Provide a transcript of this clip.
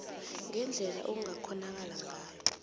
ngendlela ekungakghonakala ngayo